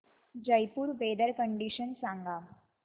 Jaipur weather condition सांगा